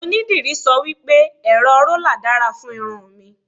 onidiri sọ wipe, ẹrọ rola dára fún irun mi